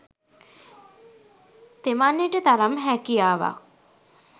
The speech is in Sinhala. තෙමන්නට තරම් හැකියාවක්